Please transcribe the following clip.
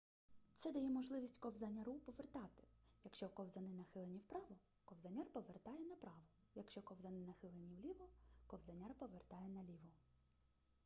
це дає можливість ковзаняру повертати якщо ковзани нахилені вправо ковзаняр повертає направо якщо ковзани нахилені вліво ковзаняр повертає наліво